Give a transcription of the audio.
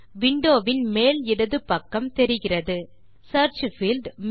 window வின் மேல் இடது பக்கம் தெரிகிறது சியர்ச் பீல்ட்